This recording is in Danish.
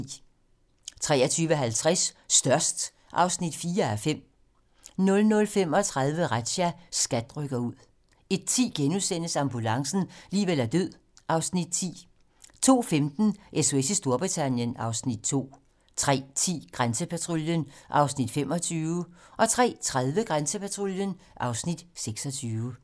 23:50: Størst (4:5) 00:35: Razzia - SKAT rykker ud 01:10: Ambulancen - liv eller død (Afs. 10)* 02:15: SOS i Storbritannien (Afs. 2) 03:10: Grænsepatruljen (Afs. 25) 03:30: Grænsepatruljen (Afs. 26)